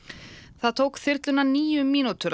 það tók þyrluna níu mínútur að